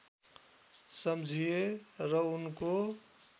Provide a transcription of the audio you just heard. सम्झिए र उनको